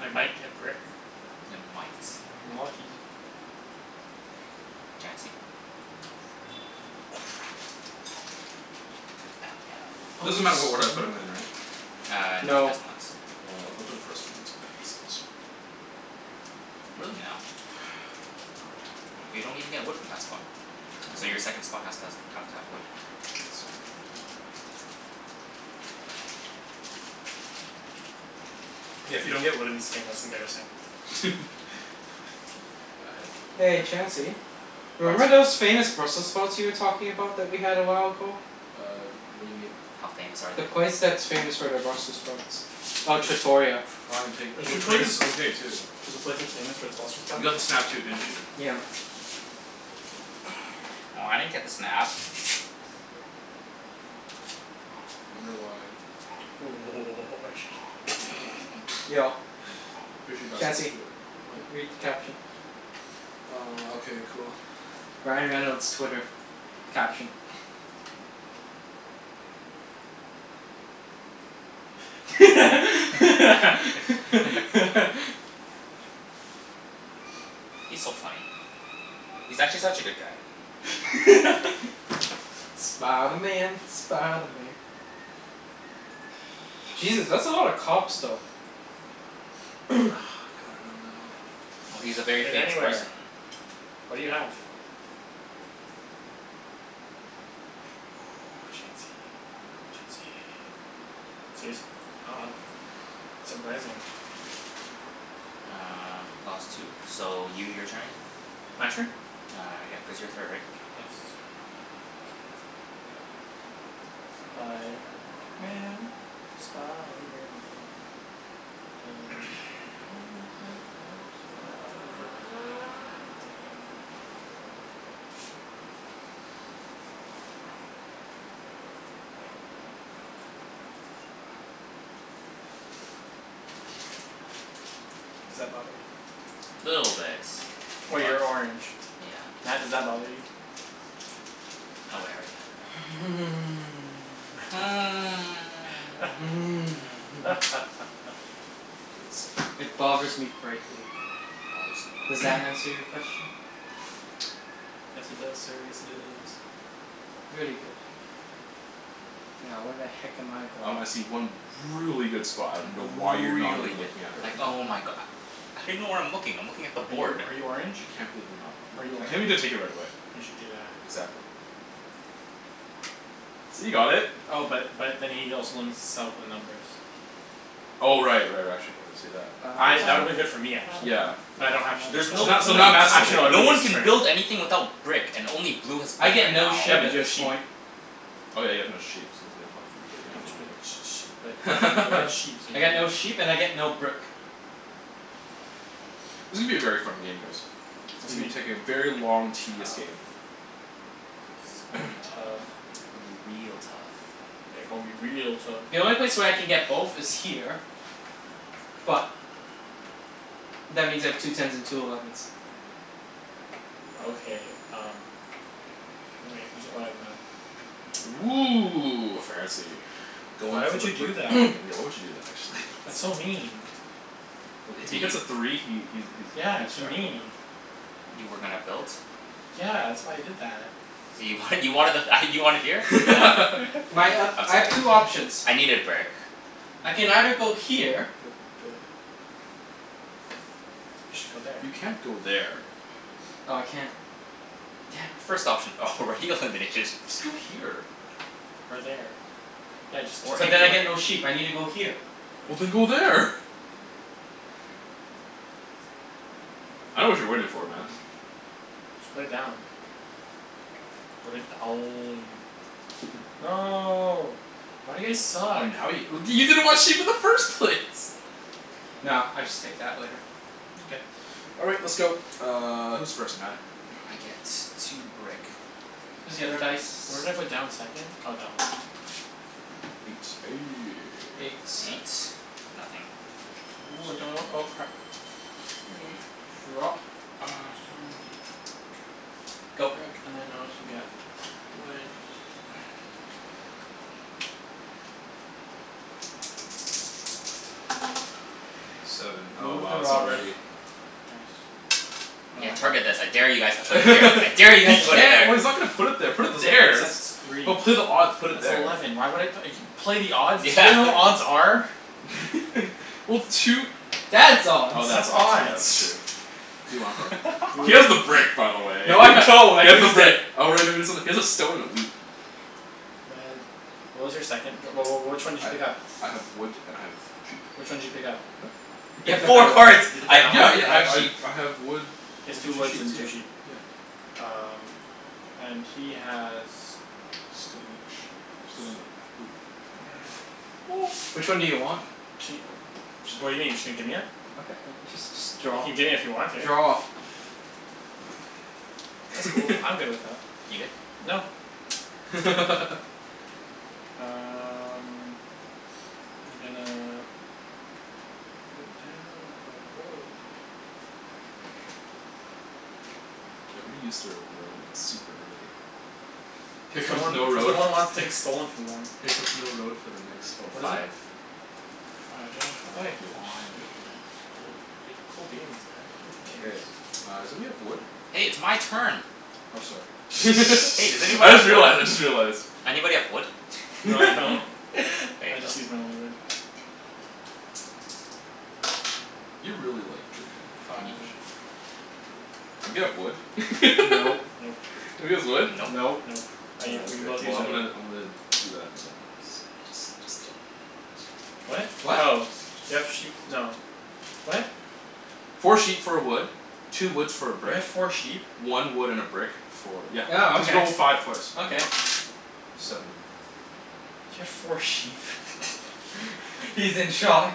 I might get brick. Ya might. If I'm lucky. Chancey? Crap. Crap. Oh no. Oh Doesn't snap. matter what order I put 'em in right? Uh no, it No. does not. Mkay, well I'll go for the first one and get some Really now? But you don't even get wood from that spot. So your second I spot has to has have don't to have wood. get. Exactly. Yeah, if you don't get wood in this game that's embarrassing. Yeah, I had the one I'm Hey gonna put there. Chancey. What? Remember those famous Brussels sprouts you were talking about that we had a while ago? Uh what do you mean? How famous are The they? place that's famous for their Brussels sprouts. Oh, Trattoria. Flying Pig, There's a place, Trattoria's okay too. there's a place that's famous for its Brussels You sprouts? got the snap too, didn't you? Yeah. Oh, I didn't get the snap. Wonder why? Yo I'm pretty sure you're not supposed to Chancey, do it right now. read What? the caption. Uh okay cool. Ryan Reynolds' Twitter. Caption. He's so funny. He's actually such a good guy. Spider Man, Spider Man. Jesus, that's a lot of cops though. God, I don't know. Well, he's a very Put it famous anywhere. person. What do you have? Chancey, Chancey. Serious? Oh wow. Surprising. Uh clause two. So you, your turn again. My turn? Uh yeah, cuz you're third right? Yes. Spiderman, Spiderman. Does whatever a spider can. Does that bother you? Little bit. Oh, But, you're orange. yeah. Matt, does that bother you? Oh wait, I already have a doubt. It bothers me greatly. Bothers him Does greatly. that answer your question? Yes it does sir, yes it does. Very good. Now where the heck am I going? Um I see one really good spot, I dunno why you're not Really even good. looking at it Like right now. oh my go- How do you know where I'm looking? I'm looking at the Are you board. are you orange? I can't believe you're not Are you I orange? can't believe you didn't take it right away. You should do that. Exactly. See, you got it. Oh but but then he also limits himself on numbers. Oh right right, actually no I didn't see that. I, that would've been good for me actually, Yeah but yeah. I don't have sheep There's so no Now, so point. now Matt's gonna Actually take no, it No would've it. one been can build useless for me. anything without brick and only blue has I brick get right no now. Yeah, sheep but at you have this sheep. point. Oh yeah, you have no sheep, so there's no point for you But y- getting but y- that Oh. y- either. but you'll get sheep, so you I get can do no sheep that. and I get no brick. This is gonna be a very fun game guys. It's gonna be It's taking a very gonna long be tedious game. tough. It's gonna be tough. Gonna be real tough. Yeah, gon' be real tough. The only place where I can get both is here. But that means I have two tens and two elevens. Okay um Oh wait, who's, oh yeah Matt. Woo, fancy. Goin' Why for would the you brick do that? Why would you do that actually? That's so mean. Uh if To he hits you? a three he he's he Yeah, hits to jackpot. me. You were gonna build? Yeah, that's why I did that. You wanted, you wanted the th- ah you wanted here? Yeah. My um, I'm I have sorry. two options. I needed brick. I can either go here. You should go there. You can't go there. Oh I can't. Damn. First option already eliminated. Just go here. Or there. Yeah, just Or But just then I anywhere. get no sheep. I need to go here. Well then go there. I dunno what you're waiting for man. Just put it down. Put it down. No. Why do you guys Oh suck? now you w- you didn't want sheep in the first place. No, I'll just take that later. Okay. All right, let's go, uh who's first Matt? I get two brick. Here's the other dice. Where did I put down the second? Oh that one. Eight. Eight Nothing. Wood. Sto- oh crap. Drop. Uh stone, wheat, brick. Go. Brick and then I also get wood Seven. Oh Move the wow, it's robber. already Nice. Yeah, target I this. I dare you guys to put it here. I dare you He guys to put it can't, there. well he's not gonna put it there, put That it doesn't make any there. That's sense, it's three. just, put odd, put it That's there. eleven, why would I play the odds? You Yeah, know what what are you odds are? Well two That's odds. Oh That's that's odds, yeah that's odds. true. Who do you want it from? He has the Br- brick by the way No he I don't, I has the used it. brick. Oh right no you got something, he has a stone and a wheat. Red, what was your second? Wh- wh- which one did you pick up? I I have wood and I have sheep. Which one did you pick up? What? He You You picked have picked up up four that wood. one, cards. you picked "I up have that Yeah wood yeah and one? I I have I sheep." I have wood He has and two two woods and sheeps, yeah two sheep. yeah. Um and he has Stone and sheep. Stone and a wheat. Which one do you want? Ca- what do you mean? Just gonna gimme it? Okay just just You draw. can gimme if you want to. Draw. That's cool, I'm good with that. You good? No. Um I'm gonna put down a road. Everybody used their road like super early. Here Cuz no comes one, no cuz no road one wants f- things stolen from them. here comes no road for the next oh What is it? five. Five. Five uh oh I Come do, on. sweet, cool, goo- cool beans man, cool K, beans. uh somebody have wood? Hey, it's my turn. Oh sorry, Hey does anyone I just have wood? realized, I just realized. Anybody have wood? No I don't, There I you go. just used my only wood. You're really like drinkin' all that, Can you aren't Five. you? Anybody have wood? Nope. Nope. Nobody has wood? Nope. Nope. Nope. I u- Oh we okay. both Well used our I'm wood. gonna I'm gonna do that and uh What? do do that. What? Oh, do you have sheep, no, what? Four sheep for a wood, two woods for a You brick, had four sheep? one wood and a brick for, yeah, Oh cuz you okay, rolled a five twice. okay. Seven. You had four sheep He's in shock.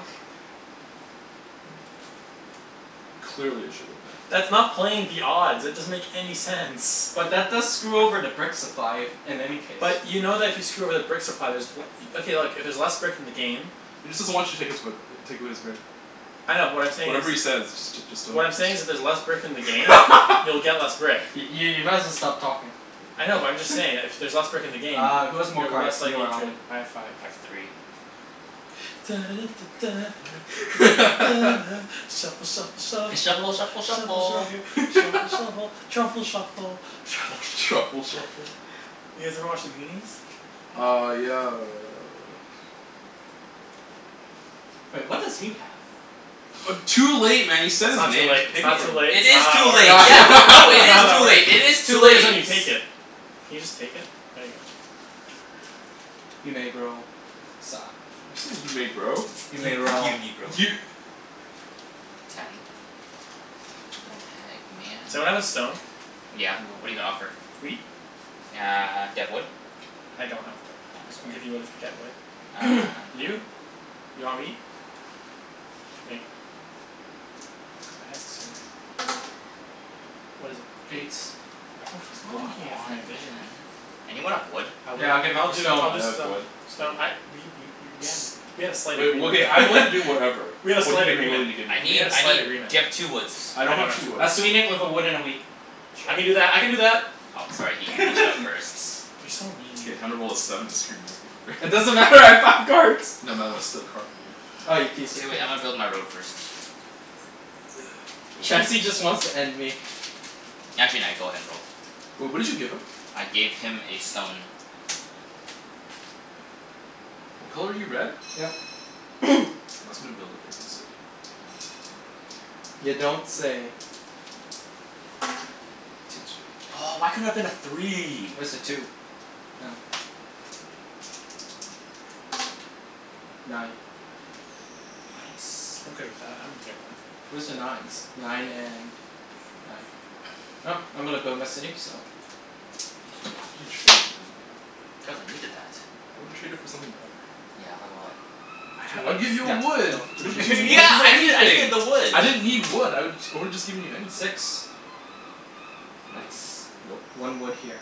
Clearly, I should go there. That's not playing the odds. It doesn't make any sense. But that does screw over the brick supply, if, in any case. But you know that if you screw over the brick supply there's w- okay look, if there's less brick in the game He just doesn't want you to take his way b- take away his brick. I know but what I'm saying is Whatever he says just j- just don't What I'm just saying is if there's j- less brick in the game you'll get less brick. I- i- you might as well stop talking. I know but I'm just saying that if y- there's less brick in the game Uh who has more you're cards, less you likely or to Alvin? have I five. have three. shuffle shuffle shuffle shuffle F- shuffle shuffle shuffle shuffle shuffle. shuffle truffle shuffle truffle Truffle shuffle. Truffle shuffle? shuffle? You guys ever watch The Goonies? No. Uh yeah uh Wait, what does he have? Uh too late man you said That's his not too name, late, it's pick it not too from him. late, It it's not is how that too late. works, Yeah, no, it it's not is how that too works. late, it is too Too late is when late. you take it. Can you just take it? There you go. You may bro, sa- You say you may grow? You may roll. You negro. You Ten. What the heck Someone man? have a stone? Yeah, No. what're you gonna offer? Wheat? Uh do you have wood? I don't have wood. Oh, I can sorry. give you wood if I get wood. Uh no. You? You want wheat? Okay. Go ahead sir. What is it? Eight. Eight. Everyone keeps Come blocking it from on my vision. man. Anyone have wood? I would, Yeah, I'll give it I'll for do, stone. I'll I just have uh, wood, stone wheat. I we we w- w- we had a slight Wait, well agreement okay, I'm willing to do whatever. We had a What are you slight gonna be agreement, willing to give me? I we need, had a I slight need, agreement. do you have two woods? I I don't don't have have two two wood. woods. I'll sweeten it with a wood and a wheat. I can do Sure. that, I can do that. Oh sorry, he he beat you out first. You're so mean. K, time to roll a seven and screw Matthew It over. doesn't matter, I have five cards. No Matt, I wanna steal a card from you. Ah, you piece K of wait, crap. I'ma build my road first. K. Chancey just wants to end me. Actually nah, go ahead and roll. Wait, what did you give him? I gave him a stone. What color are you, red? Yep. Matt's gonna build a frickin' city. Can I go in You here? No. don't say. Two twos. Two. Two. Oh why couldn't it have been a three? Where's the two? Oh. Nine. Nice. I'm good with that, I'm okay with that. Where's the nines? Nine and nine. I'm gonna build my city, so Why did you trade, man? Cuz I needed that. I would've traded for something better. Yeah, like what? Two I'd woods? give you Yeah, a wood. go. two What did you need, you Yeah woods? could get I needed, I needed anything. the wood. I didn't need wood, I would I woulda just given you anything. Six. Nope, Nice. nope. One wood here.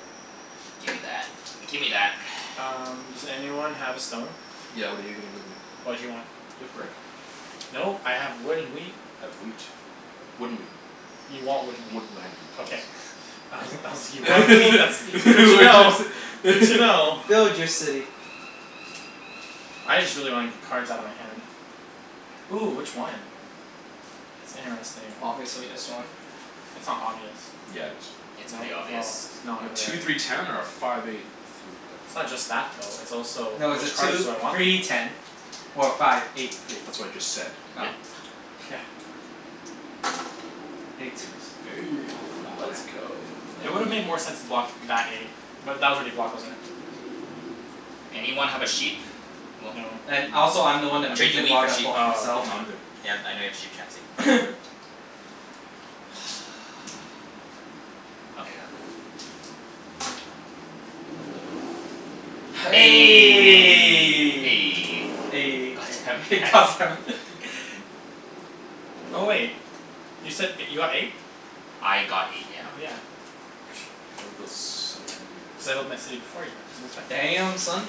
Gimme that, gimme that Um does anyone have a stone? Yeah what are you gonna give me? What do you want? Do you have brick? Nope, I have wood and wheat. I have wheat. Wood and wheat. You want wood and Wood wheat. Okay. please. I was, I was, you What have wheat, that's that's did good you to know. wanna Good say to know. Build your city. I just really wanna get cards outta my hand. Ooh, which one? That's interesting. Obviously this one. That's not obvious. Yeah it is. It's No, pretty obvious. well, it's not Two really. three ten or a five eight three, It's not okay just that though, it's also No, it's a which cards two do I want the three most? ten or a five eight three. That's what I just said. Oh. Yeah. Eight. Eight Aw come on. let's go. It would've made more sense to block that eight. But that was already blocked, wasn't it? Anyone have a sheep? Well No. And also I'm the No. one I'll that trade moved you it, wheat why for did I sheep. block Oh, myself? No, I'ma, I'm good. okay. yeah I know you have sheep Chancey. I'm good. Okay, go. Eleven. God God damn it hex. damn it Oh wait, you said you got eight? I got eight, yeah. Oh yeah. K I wanna build settlement. Settled my city before you, Matt, so it's fine. Damn, son.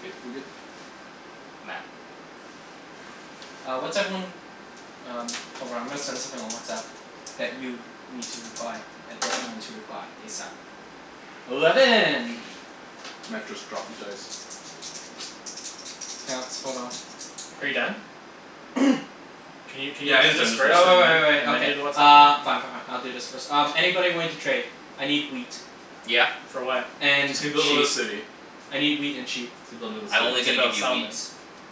K, we good. Matt. Uh what's everyone, um hold on I'm gonna send something on WhatsApp. That you need to reply. That d- everyone to reply, ASAP. Eleven. Matt just dropped the dice. K let's, hold on. Are you done? Can you can you Yeah he do is this done, Uh just first uh re-roll. and wai- wai- then wai- and then okay. do the WhatsApp Uh. thing? Fine fine fine, I'll do this first. Um Anybody willing to trade? I need wheat. Yeah. For what? And And he's gonna build another sheep. city. I need wheat and sheep. He's gonna build I'm another No, only he's city. gonna gonna build give a you wheat. settlement.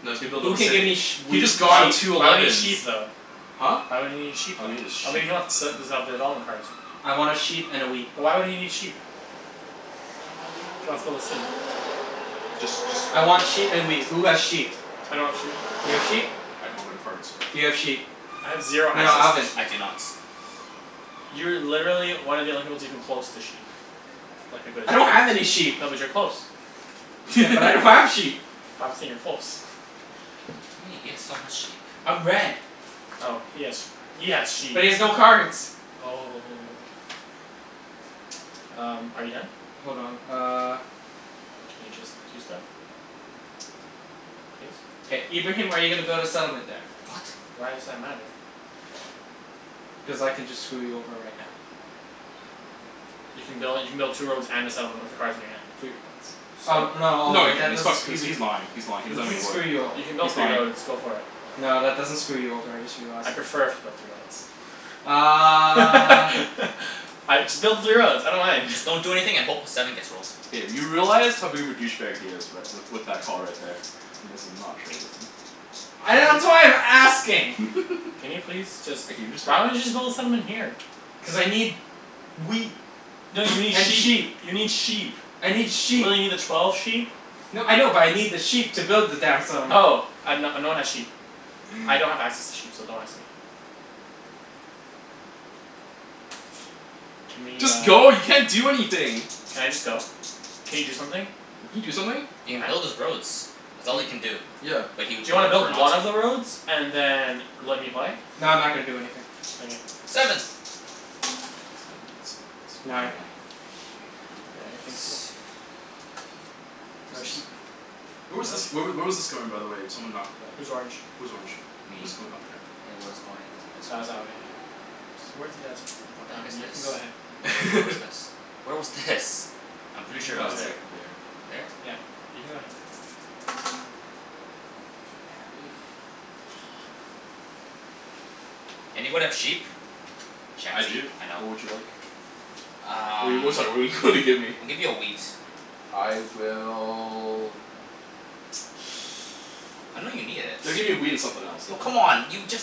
No, he's gonna build Who another can give me city. sh- He wheat just Why would, got sheep? two why would he need elevens. sheep though? Huh? Why would he need sheep Oh then? he need a Oh maybe sheep. he wants development cards. I wanna sheep and a wheat. But why would he need sheep? If he wants to build a city? Just just I want sheet and wheat. Who has sheep? I don't have sheep. You have sheep? I don't have any cards. Do you have sheep? I have zero No no, No. access to Alvin. I do sheep. not. You're literally one of the only people that's even close to sheep. Like a good I don't have any sheep. sheep. No, but you're close. Yeah, but I don't have sheep. But I'm saying you're close What do you mean? He has so much sheep. I'm red. Oh he has sheep. He has sheep. But he has no cards. Oh Um, are you done? Hold on, uh. Can you just do stuff? Please? K, Ibrahim are you gonna build a settlement there? What? Why does that matter? Cuz I can just screw you over right now. You can build, you can build two roads and a settlement with the cards in your hand. Three roads. Oh So? no, oh No he wait, can't, that he's fuck- doesn't , screw he's he's lying, he's lying, he That doesn't have doesn't any wood. screw you o- You can He's build three lying. roads. Go for it. No, that doesn't screw you over, I just realized. I'd prefer if you built three Uh roads. I, just build the three roads, I don't mind. Just don't do anything a hope a seven gets rolled. K, you realize how big of a douche bag he is right, with with that call right there. You may as well not trade with him. I, that's why I'm asking. Can you please just, Like can you just hurry why don't you up? just build a settlement here? Cuz I need wheat No you need and sheep sheep. You need sheep. I need sheep. Will you need a twelve sheep? No, I know but I need the sheep to build the damn settlement. Oh. I have, no no one has sheep. I don't have access to sheep so don't ask me. Can we Just uh go, you can't do anything. Can I just go? Can you do something? Can you do something? He can build Matt? his roads. That's all he can do. B- Yeah. but he Do would you wanna build prefer one not to. of the roads and then let me play? No, I'm not gonna do anything. Okay. Seven. Sand bun some of the cards. Nine. Nine. Nine. Okay, I think so. No sheep. Where was No this, where w- sheep. where was this going by the way? Someone knocked it up. Who's orange? Who's orange? Me. Was it going up or down? It was going this way. That was that way, yeah. Towards the desert. What the heck Um, is you this? can go Where ahead. wa- where was this? Where was this? I'm You pretty can sure go it Oh was it's ahead. there. like there. There? Yeah. You can go ahead. Hey. Fuck. Anybody have sheep? I Chancey. do, I know. what would you like? What do Um you, sorry what do you wanna give me? I'll give you a wheat. I will I know you need it. Gotta give me a wheat and something else Oh man. come on. You just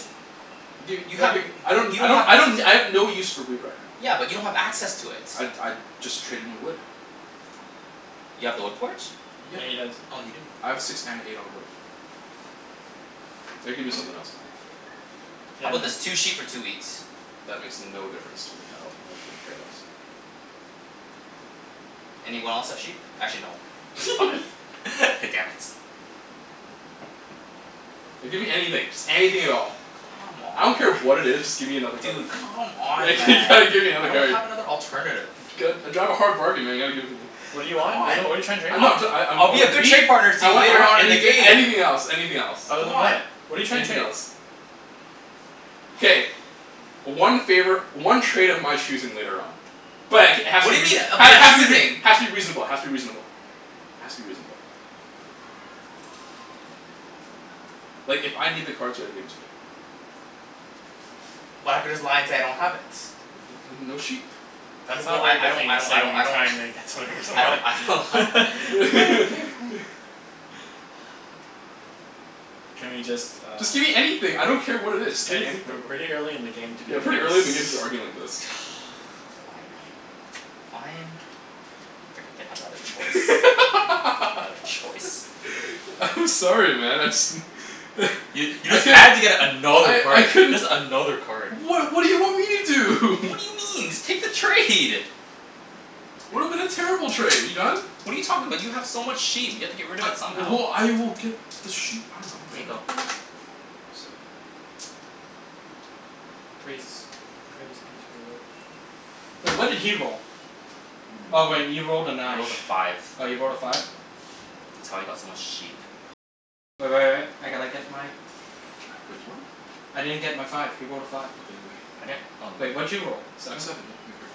Dude You have w- okay, I y- don't you I don't don't have I access don't, I have no use for wheat right now. Yeah, but you don't have access to it. I'd I'd just trade in wood. You have the wood port? Yeah. Yeah, he does. Oh you do. I have a six and an eight on a wood. Gotta give me something else man. Yeah How 'bout man. this? Two sheep for two wheat. That makes no difference to me at all. I couldn't care less. Anyone else have sheep? Actually no, five. Damn it. No, give me anything, just anything at all. Come I on don't man. care what it is, just give me another card. Dude, come on Like man, you gotta give me I another don't card. have another alternative. I drive a hard bargain man you gotta give it to me. What do you want? What're you, C'mon. what are you tryin' to trade? No I'm, I'm try- I I I I'll be want a a good wheat. trade partner to I you want I later want on in the anything game. anything else anything else. Other Come than on. that, what're you trying to Anything trade? else. K. One favor, one trade of my choosing later on. But it k- it has What to be do you mean reaso- of ha- your has to be rea- choosing? has to be reasonable has to be reasonable. Has to be reasonable. Like if I need the cards you gotta give it to me. But I could just lie and say I don't have it. Well then no sheep. That's not a Well, I very I good don't thing I to don't say when I you're don't trying to get something from I don't I don't ha- someone K, okay fine. Can we just uh Just give me anything, I don't care what it is, just Guys, gimme we're anything. way early in the game to be Yeah, doing this pretty early in the game to be arguing like this. Fine. fine. Frickin' didn't have another choice. Another choice. I'm sorry man, I just You you I just could had to get another I I card. couldn't Just another card. What what do you want me to do? What do you mean? Just take the trade. Would've been a terrible trade. Are you done? What are you talking about? You have so much sheep. You have to get rid of it somehow. Well, I will get the sheep, I dunno K, man. go. Seven. Praise. Praise be to the lord. Wait, what did he roll? Oh wait, he You're a moron. rolled a I nine. rolled a five. Oh you rolled a five? That's how he got so much sheep. Wait what? I didn't get my five. He rolled a five. Okay then I I'm right here. didn't oh Wait, what did you roll? A Seven? seven, here, give me a card.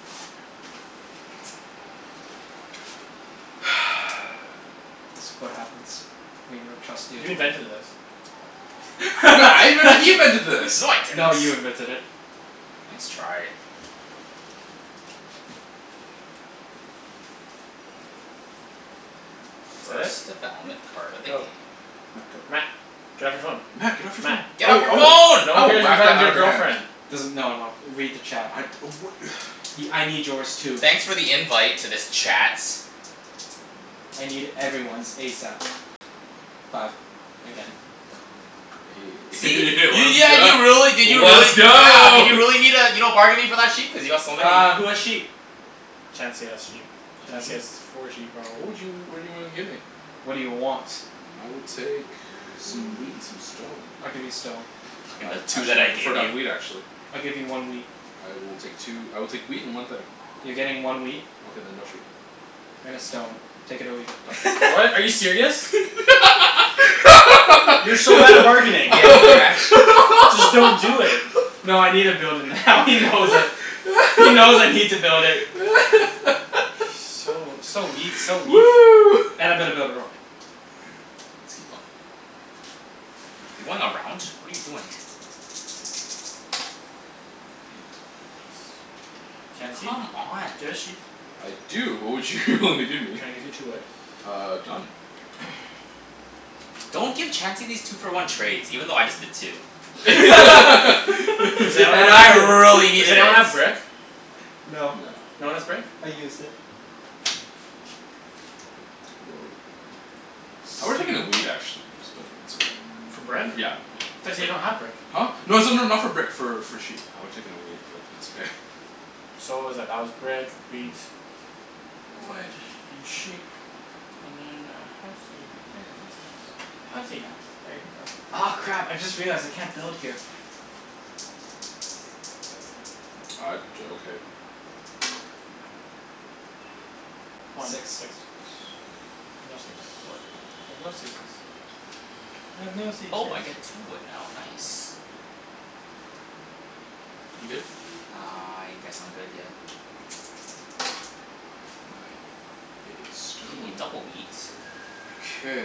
This what happens when you don't trust the You opponent. invented this. What, I invented, he invented this. No I didn't. No, you invented it. Nice try. Fret? First development Yep. card of the Go. game. Matt, go. Matt. Get off your phone. Matt get off your Matt. phone. I Get off will your I will phone. No I one will cares you're whack that talking to out of your your hand. girlfriend. Doesn- no no, read the chat. I'd oh wha- Y- I need yours too. Thanks for the invite to this chat. I need everyone's ASAP. Five. Again. Let's See? You, yeah go, you really, did you really let's yeah, go did you need uh you're not bargaining for that sheep? Cuz you got so many. Uh, who has sheep? Chancey has sheep. Chancey Chancey? has four sheep What probably. would you, what do you wanna give me? What do you want? I will take some wheat and some stone. I'll give you stone. Fuckin' Uh the two that actually I I'd gave prefer to have wheat you. actually. I'll give you one wheat. I will take two, I will take wheat and one thing. You're getting one wheat. Okay then no sheep. And a stone. Take it or leave it. Done. What, are you serious? You're so bad at bargaining. Yeah, you're actu- Just don't do it. No I needa build it now he knows it. He knows I need to build it. So, so weak, so weak. And I'm gonna build a road. Let's keep going. You're going around? What are you doing? Eight. Chancey? Do you Come on. have a sheep? I do. What would you wanna give me? Can I give you two wood? Uh done. Don't give Chancey these two for one trades, even though I just did too. Does Cuz anyone And have I I really a, does needed it. anyone have brick? No. No, No one has brick? I used it. Whoa. I would've taken a wheat actually, but it's okay. For brick? I Yeah, yeah. thought you said you don't have brick. Huh? No it's not not for brick for for sheep, I would have taken a wheat but it's okay. So what was that? That was brick, wheat. Wood and sheep. And then a housey right there. Housey house. Housey house. There you go. Aw crap, I just realized I can't build here. Uh d- okay. One. Six. Six. No six. Wood. I have no sixes. I have no Oh I seizures. get two wood now, nice. You good? I guess I'm good, yeah. Nine, hey, Hey, stone. double wheat. Okay.